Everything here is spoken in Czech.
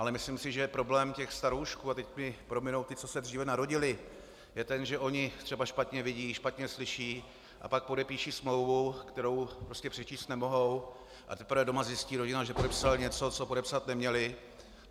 Ale myslím si, že problém těch staroušků - a teď mi prominou ti, co se dříve narodili - je ten, že oni třeba špatně vidí, špatně slyší, a pak podepíší smlouvu, kterou prostě přečíst nemohou, a teprve doma zjistí rodina, že podepsal něco, co podepsat neměl.